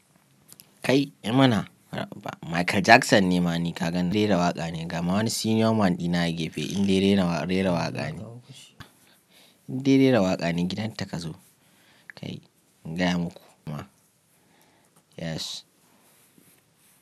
Kai, emana bura uba Michael Jackson ne ma ni ka gani rera waƙa ne gama wani senior man dina a gefe in dai rera waƙa ne. In dai rera waƙa ne gidan ta ka zo. Kai, in gaya muku ma. Yes.